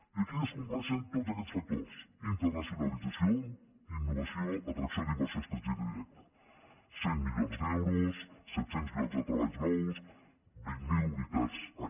i aquí es compleixen tots aquests factors internacionalització innovació atracció d’inversió estrangera directa cent milions d’euros set cents llocs de treballs nous vint miler unitats any